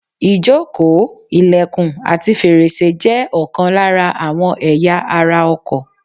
Ìjókòó, ìlẹ̀kùn àti fèrèsé jẹ́ ọ̀kan lára àwọn ẹ̀ya ara ọkọ̀.